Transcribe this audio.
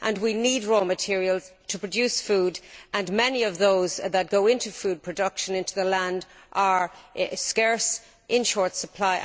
We need raw materials to produce food, and many of those that go into food production, into the land, are scarce and in short supply.